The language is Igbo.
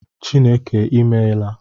Chineke I meela